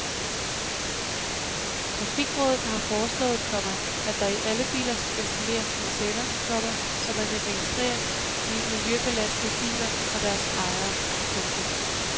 Trafikrådet har foreslået, komma at der i alle biler skal installeres en sender, komma så man kan registrere de miljøbelastende biler og deres ejere. punktum